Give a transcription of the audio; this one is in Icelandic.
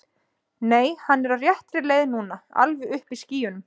Nei, hann er á réttri leið núna. alveg uppi í skýjunum.